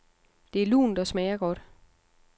Det er lunt og smager godt.